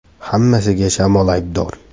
“Hammasiga shamol aybdor”.